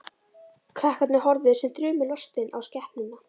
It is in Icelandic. Krakkarnir horfðu sem þrumulostin á skepnuna.